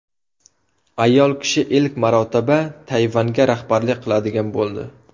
Ayol kishi ilk marotaba Tayvanga rahbarlik qiladigan bo‘ldi.